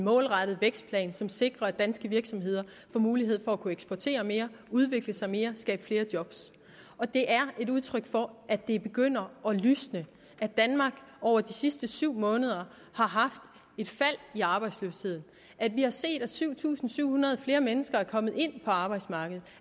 målrettet vækstplan som sikrer at danske virksomheder får mulighed for at eksportere mere udvikle sig mere skabe flere job og det er et udtryk for at det begynder at lysne at danmark over de sidste syv måneder har haft et fald i arbejdsløsheden at vi har set at syv tusind syv hundrede flere mennesker er kommet ind på arbejdsmarkedet